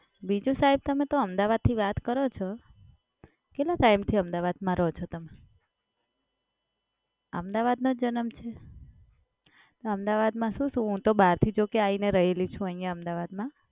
બીજું સાહેબ તમે તો અમદાવાદથી વાત કરો છો, કેટલા ટાઈમથી અમદાવાદમાં રહો છો તમે? અમદાવાદનો જ જન્મ છે? ના અમદાવાદમાં શું શું હું તો બહારથી જો કે આઈને રહેલી છું અહિયાં અમદાવાદમાં.